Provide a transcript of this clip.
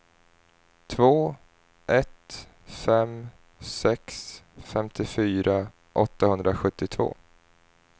två ett fem sex femtiofyra åttahundrasjuttiotvå